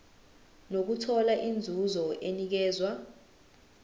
nokuthola inzuzo enikezwa